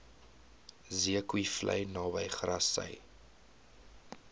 zeekoevlei naby grassy